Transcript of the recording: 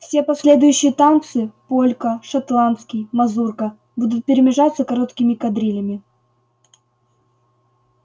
все последующие танцы полька шотландский мазурка будут перемежаться короткими кадрилями